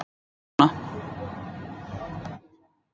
Hann situr hér með okkur núna.